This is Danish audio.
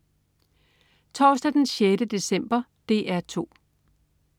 Torsdag den 6. december - DR 2: